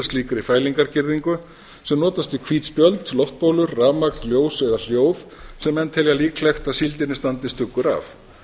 að slíkri fælingargirðingu sem notast við hvít spjöld loftbólur rafmagn ljós eða sjó sem menn telja líklegt að síldinni standi stuggur af